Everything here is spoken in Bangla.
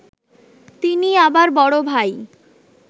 তিনি আবার বড় ভাই